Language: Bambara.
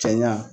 Cɛɲa